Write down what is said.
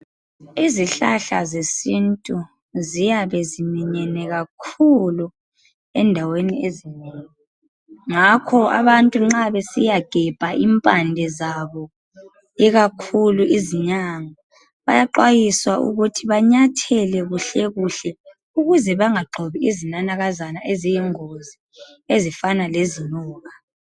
Izihlahla zesintu ziyabe ziminyene kakhulu endaweni ezinengi. Ngakho abantu nxa besiyagebha impande zabo ikakhulu izinyanga bayaxwayiswa ukuthi banyathele ngonanzelelo ukuze bangagxobi izinanakazana ezifana lezinyoka.